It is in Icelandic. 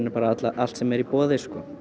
allt sem er í boði